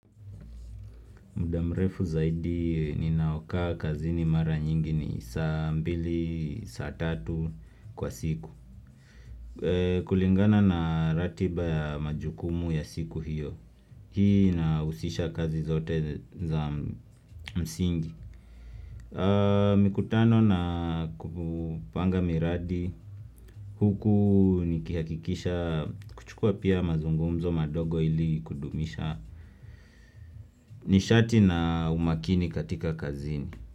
Muda mrefu zaidi ninaokaa kazini mara nyingi ni saa mbili, saa tatu kwa siku. Kulingana na ratiba ya majukumu ya siku hiyo. Hii nahusisha kazi zote za msingi. Mikutano na kupanga miradi. Huku nikihakikisha kuchukua pia mazungumzo madogo ili kudumisha. Nishati na umakini katika kazi ni.